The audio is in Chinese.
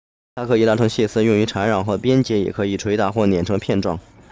它可以拉成细丝用于缠绕和编结也可以捶打或碾成片状